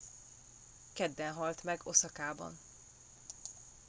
kedden halt meg oszakában